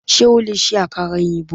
Sé o lè se àkàrà òyìnbó?